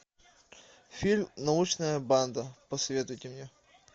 фильм научная банда посоветуйте мне